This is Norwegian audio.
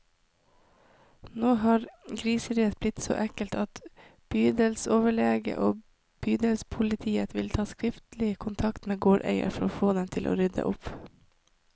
Nå har griseriet blitt så ekkelt at bydelsoverlegen og bydelspolitiet vil ta skriftlig kontakt med gårdeierne, for å få dem til å rydde opp.